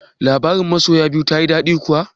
Labarin masoya biyu tayi daɗi kuwa?